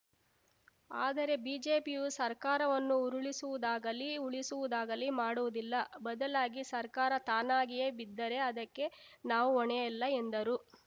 ಆದರೆ ಬಿಜೆಪಿಯು ಸರ್ಕಾರವನ್ನು ಉರುಳಿಸುವುದಾಗಲಿ ಉಳಿಸುವುದಾಗಿಲಿ ಮಾಡುವುದಿಲ್ಲ ಬದಲಾಗಿ ಸರ್ಕಾರ ತಾನಾಗಿಯೇ ಬಿದ್ದರೆ ಅದಕ್ಕೆ ನಾವು ಹೊಣೆಯಲ್ಲ ಎಂದರು